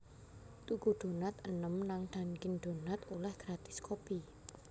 Tuku donat enem nang Dunkin' Donuts oleh gratis kopi